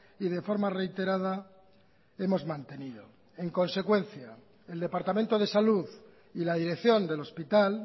y de forma reiterada hemos mantenido en consecuencia el departamento de salud y la dirección del hospital